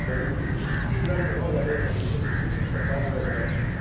удалил переписку в телеграмме но я до этого успел посмотреть то что оказывается